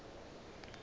na e ka ba ke